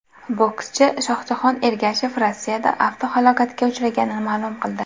Bokschi Shohjahon Ergashev Rossiyada avtohalokatga uchraganini ma’lum qildi .